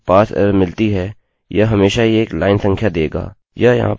यह यहाँ पर लाइन 5 दिखा रहा है